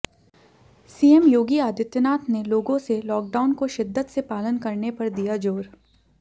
CM Yogi Adityanath ने लोगों से लॉकडाउन को शिद्दत से पालन करने पर दिया जोर